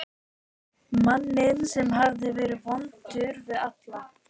Manni sem hafði verið vondur við alla.